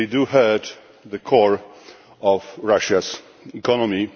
hurt the core of Russia's economy.